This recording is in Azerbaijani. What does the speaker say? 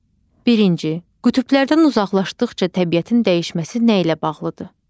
Birinci: Qütblərdən uzaqlaşdıqca təbiətin dəyişməsi nə ilə bağlıdır?